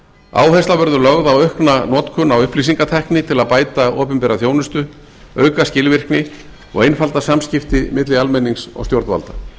áhersla verður lögð á aukna notkun á upplýsingatækni til að bæta opinbera þjónustu auka skilvirkni og einfalda samskipti milli almennings og stjórnvalda